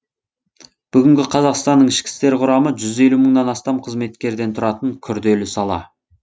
бүгінгі қазақстанның ішкі істер құрамы жүз елу мыңнан астам қызметкерден тұратын күрделі сала